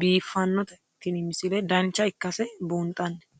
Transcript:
biiffannote tini misile dancha ikkase buunxanni